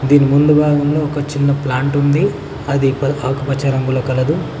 దీని ముందుగా ఉన్న ఒక చిన్న ప్లాంట్ ఉంది అది ఆకుపచ్చ రంగులో కలదు.